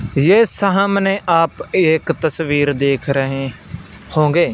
ये सहमाने आप एक तस्वीर देख रहे होंगे--